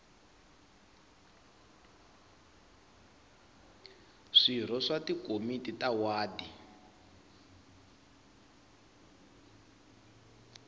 swirho swa tikomiti ta wadi